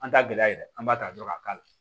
An t'a gɛlɛya yɛrɛ an b'a ta dɔrɔn k'a k'a la